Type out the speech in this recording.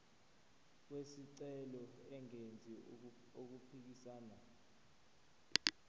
wesicelo engenzi okuphikisana